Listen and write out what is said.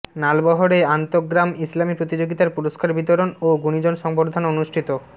নালবহরে আন্তঃগ্রাম ইসলামি প্রতিযোগিতার পুরষ্কার বিতরণ ও গুণীজন সংবর্ধনা অনুষ্ঠিত